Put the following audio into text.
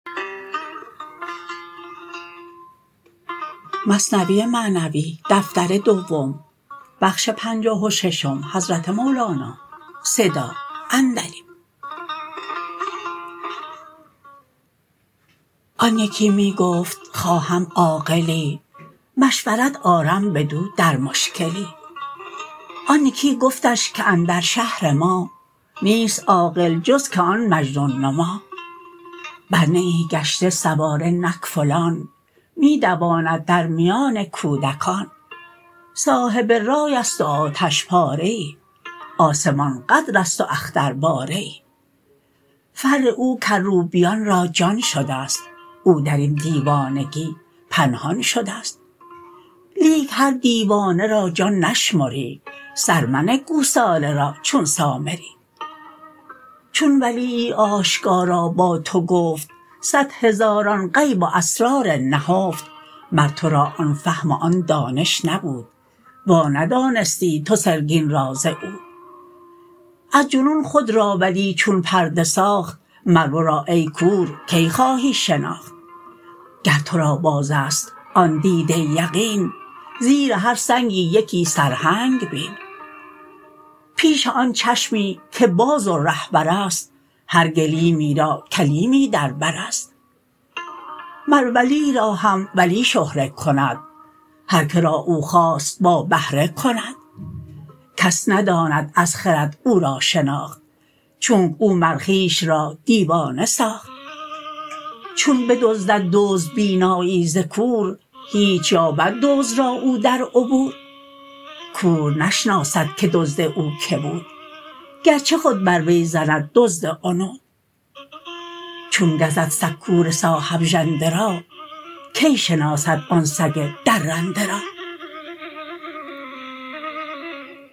آن یکی می گفت خواهم عاقلی مشورت آرم بدو در مشکلی آن یکی گفتش که اندر شهر ما نیست عاقل جز که آن مجنون نما بر نیی گشته سواره نک فلان می دواند در میان کودکان صاحب رایست و آتش پاره ای آسمان قدرست و اخترباره ای فر او کروبیان را جان شدست او درین دیوانگی پنهان شدست لیک هر دیوانه را جان نشمری سر منه گوساله را چون سامری چون ولیی آشکارا با تو گفت صد هزاران غیب و اسرار نهفت مر ترا آن فهم و آن دانش نبود وا ندانستی تو سرگین را ز عود از جنون خود را ولی چون پرده ساخت مر ورا ای کور کی خواهی شناخت گر ترا بازست آن دیده یقین زیر هر سنگی یکی سرهنگ بین پیش آن چشمی که باز و رهبرست هر گلیمی را کلیمی در برست مر ولی را هم ولی شهره کند هر که را او خواست با بهره کند کس نداند از خرد او را شناخت چونک او مر خویش را دیوانه ساخت چون بدزدد دزد بینایی ز کور هیچ یابد دزد را او در عبور کور نشناسد که دزد او که بود گرچه خود بر وی زند دزد عنود چون گزد سگ کور صاحب ژنده را کی شناسد آن سگ درنده را